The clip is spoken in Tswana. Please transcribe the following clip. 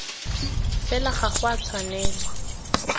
fela ga go a tshwanelwa